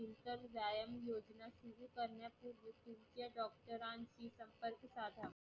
नंतर व्यायाम योजना सुरु करण्यापूर्वी तिथल्या doctor शी संपर्क साधा.